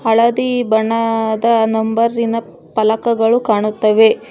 ಹಳದಿ ಬಣ್ಣದ ನಂಬರಿನ ಪಲಕಗಳು ಕಾಣುತ್ತವೆ.